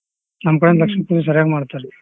ನಮ್ ಕಡೆನೂ ಲಕ್ಷ್ಮೀ ಪೂಜೆ ಸರಿಯಾಗ್ ಮಾಡ್ತಾರಿ.